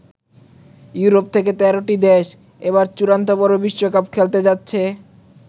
Europe থেকে ১৩ টি দেশ এবার চূড়ান্ত পর্বে বিশ্বকাপ খেলতে যাচ্ছে।